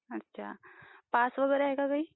Pass वगैरे आहे का काही?